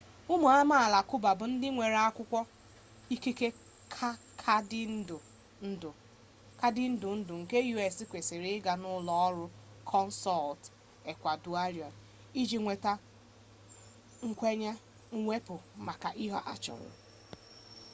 ụmụ amaala cuba bụ ndị nwere akwụkwọ ikike kaadị ndụ ndụ nke us kwesịrị ịga n'ụlọ ọrụ consul ecuadorian iji nweta nkwenye mwepụ maka ihe a chọrọ